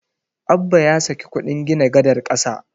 Abba ya saki kuɗin gina gadar ƙasa.